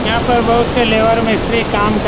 यहाँ पर बहुत से लेबर मिस्त्री कम कर --